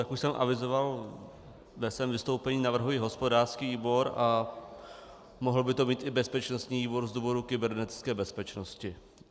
Jak už jsem avizoval ve svém vystoupení, navrhuji hospodářský výbor a mohl by to být i bezpečností výbor z důvodu kybernetické bezpečnosti.